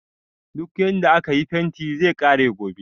Duk yarda akayi fentin zai kare gobe